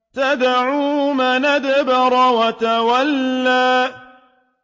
تَدْعُو مَنْ أَدْبَرَ وَتَوَلَّىٰ